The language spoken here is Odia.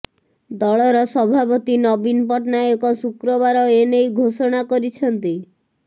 ଦଳର ସଭାପତି ନବୀନ ପଟ୍ଟନାୟକ ଶୁକ୍ରବାର ଏନେଇ ଘୋଷଣା କରିଛନ୍ତି